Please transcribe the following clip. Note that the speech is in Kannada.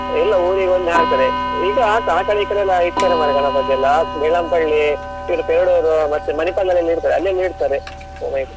ಇಲ್ಲಾ ಊರಿಗೆ ಒಂದೇ ಹಾಕ್ತಾರೆ ಈಗ ಹಾಕ್ತ್~ ಆ ಕಡೆ ಈ ಕಡೆ ಎಲ್ಲ ಇಡ್ತಾರೆ ಮಾರೇ ಗಣಪತಿಯೆಲ್ಲ Bellampalli , ಇದು Perdoor ಮತ್ತೆ Manipal ದಲ್ಲಿ ಇಡ್ತಾರೆ ಅಲ್ಲಿ ಎಲ್ಲಾ ಇಡ್ತಾರೆ ಹೋಗ್ಬೇಕ್.